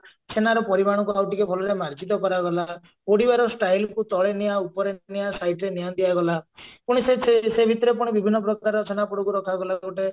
ଛେନାର ପରିମାଣ କୁ ଆଉ ଟିକେ ଭଲରେ ମାର୍ଜିତ କରାଗଲା ପୋଡିବାର style କୁ ତଳେ ନିଆଁ ଉପରେ ନିଆଁ side ରେ ନିଆଁ ଦିଆଗଲା ପୁଣି ସେ ସେ ସେଇ ଭିତରେ ପୁଣି ବିଭିନ୍ନ ପ୍ରକାର ଛେନାପୋଡକୁ ରଖାଗଲା ଗୋଟେ